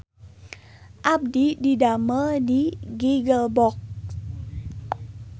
Abdi didamel di Giggle Box